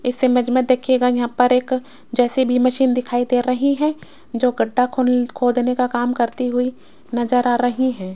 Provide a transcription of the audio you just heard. इस इमेज मे देखियेगा यहां पर एक जे_सी_बी मशीन दिखाई दे रही है जो गढ्ढा खोल खोदने का काम करती हुई नजर आ रही है।